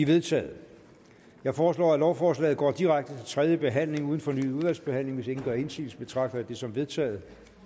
vedtaget jeg foreslår at lovforslaget går direkte til tredje behandling uden fornyet udvalgsbehandling hvis ingen gør indsigelse betragter jeg dette som vedtaget